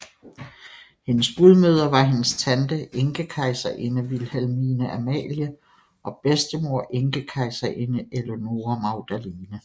Hendes gudmødre var hendes tante Enkekejserinde Vilhelmine Amalie og bedstemor Enkekejserinde Eleonore Magdalene